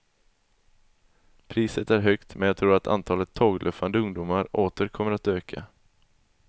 Priset är högt men jag tror antalet tågluffande ungdomar åter kommer att öka.